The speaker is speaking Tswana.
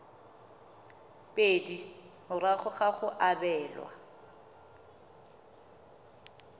pedi morago ga go abelwa